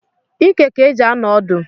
Ike ka e ji anọ odu